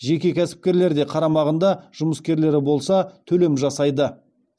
жеке кәсіпкерлер де қарамағында жұмыскерлері болса төлем жасайды